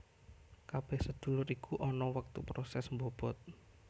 Kabeh sedulur iku ana wektu proses mbobot